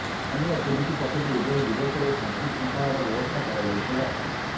ସ୍ଥାନୀୟ ପୁଲିସ ପକ୍ଷରୁ ଉଭୟ ଦିବସରେ ଶାନ୍ତିଶୁଂଖଳାର ବ୍ୟବସ୍ଥା କରାଯାଇଥିଲା